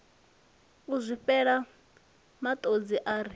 u zwifhela matodzi a ri